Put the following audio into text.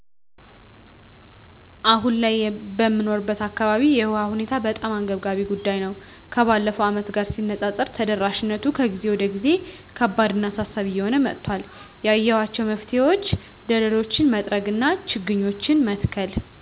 አሁን ላይ በምኖርበት አካባቢ የውሃ ሁኔታ በጣም አንገብጋቢ ጉዳይ ነው። ከባለፈው ዓመታት ጋር ሲነፃፀር ተደራሽነቱ ከጊዜ ወደ ጊዜ ከባድ እና አሳሳቢ እየሆነ መጧል። ያየዃቸው መፍትሄዎች ደለሎችን መጥረግ እና ችግኞችን መትከል።